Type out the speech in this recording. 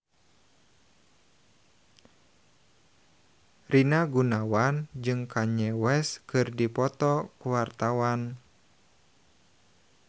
Rina Gunawan jeung Kanye West keur dipoto ku wartawan